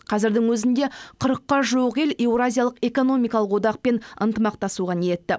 қазірдің өзінде қырыққа жуық ел еуразиялық экономикалық одақпен ынтымақтасуға ниетті